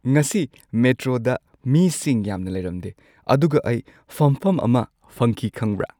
ꯉꯁꯤ ꯃꯦꯇ꯭ꯔꯣꯗ ꯃꯤꯁꯤꯡ ꯌꯥꯝꯅ ꯂꯩꯔꯝꯗꯦ ꯑꯗꯨꯒ ꯑꯩ ꯐꯝꯐꯝ ꯑꯃ ꯐꯪꯈꯤ ꯈꯪꯕ꯭ꯔꯥ?